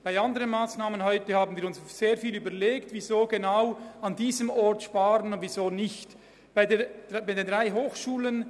Bei anderen Massnahmen, über die wir heute diskutiert haben, haben wir sehr intensiv überlegt, weshalb wir genau an diesem Ort sparen wollen oder weshalb nicht.